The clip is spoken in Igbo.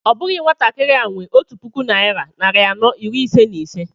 Ọ bụghị nwatakịrị a nwe ọtu puku naira narị anọ iri ise na ise